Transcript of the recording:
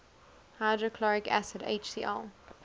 hydrochloric acid hcl